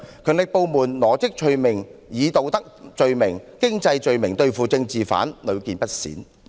強力部門羅織罪名，以道德罪名及經濟罪名對付政治犯的情況，屢見不鮮。